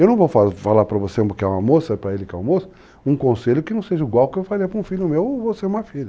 Eu não vou falar falar para você que é uma moça, para ele que é um moço, um conselho que não seja igual ao que eu faria para um filho meu ou você é uma filha.